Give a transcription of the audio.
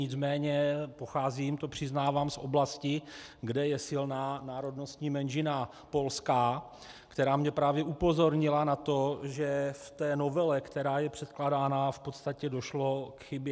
Nicméně pocházím, to přiznávám, z oblasti, kde je silná národnostní menšina polská, která mě právě upozornila na to, že v té novele, která je předkládána, v podstatě došlo k chybě.